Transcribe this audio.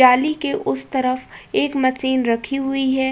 जाली के उस तरफ एक मशीन रखी हुई है।